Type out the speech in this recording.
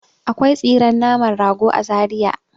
Akwai tsiren naman rago a Zariya.